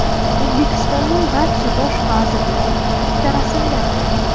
O‘zbekistonning barcha bosh vazirlari bitta rasmda.